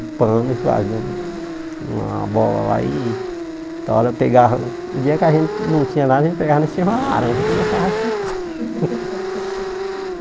Pano e fazia um uma bola lá e... Da hora eu pegava... O dia que a gente não tinha nada, a gente pegava e uma laranja e começava a chutar.